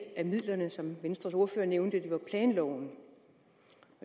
af midlerne som venstres ordfører nævnte planloven